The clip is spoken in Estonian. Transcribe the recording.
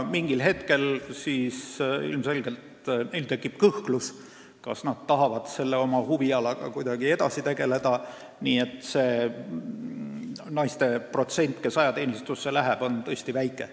Mingil hetkel tekib neil ilmselgelt kõhklus, kas nad tahavad selle huvialaga edasi tegeleda, sest nende naiste protsent, kes ajateenistusse lähevad, on tõesti väike.